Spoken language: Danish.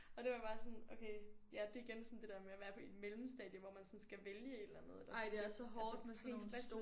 Og det var bare sådan okay ja det igen sådan det der med at være på et mellemstadie hvor man sådan skal vælge et eller andet det sådan det altså pænt stressende